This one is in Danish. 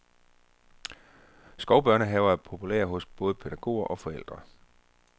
Skovbørnehaver er populære hos både pædagoger og forældre.